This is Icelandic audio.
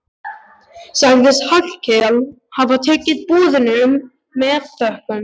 Sagðist Hallkell hafa tekið boðinu með þökkum.